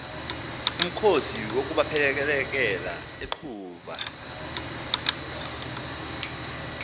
umkhosi wokubaphelekela enxuba